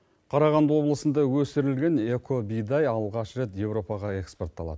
қарағанды облысында өсірілген эко бидай алғаш рет европаға экспортталады